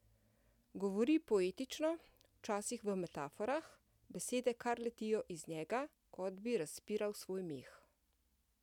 Govori poetično, včasih v metaforah, besede kar letijo iz njega, kot bi razpiral svoj meh.